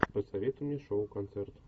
посоветуй мне шоу концерт